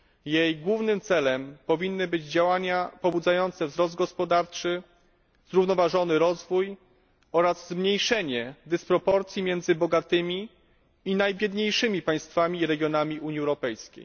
Jej głównym celem powinny być działania pobudzające wzrost gospodarczy, zrównoważony rozwój oraz zmniejszenie dysproporcji między bogatymi a najbiedniejszymi państwami i regionami Unii Europejskiej.